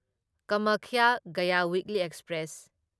Kamakhya Gaya weekly express